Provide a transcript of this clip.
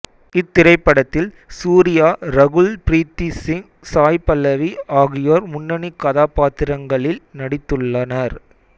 இத்திரைப்படத்தில் சூர்யா ரகுல் பிரீத் சிங் சாய் பல்லவி ஆகியோர் முன்னணி கதாபாத்திரங்களில் நடித்துள்ளனர்